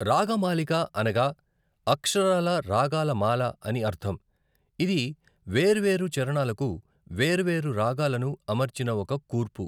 రాగమాలిక అనగా అక్షరాలా రాగాల మాల అని అర్ధం, ఇది వేర్వేరు చారణాలకు వేర్వేరు రాగాలను అమర్చిన ఒక కూర్పు.